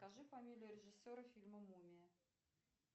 скажи фамилию режиссера фильма мумия